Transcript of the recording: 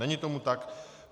Není tomu tak.